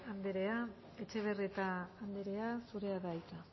anderea etxebarrieta anderea zurea da hitza